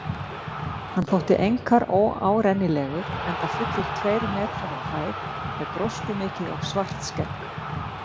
Hann þótti einkar óárennilegur, enda fullir tveir metrar á hæð með gróskumikið og svart skegg.